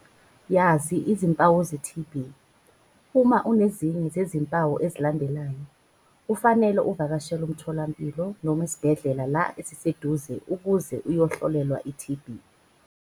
Yazi izimpawu ze-TB. Uma unezinye zezimpawu ezilandelayo, kufanele uvakashele umtholampilo noma isibhedle la esiseduze ukuze uyohlolelwa i-TB.